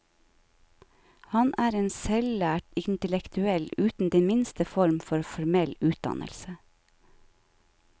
Han er en selvlært intellektuell uten den minste form for formell utdannelse.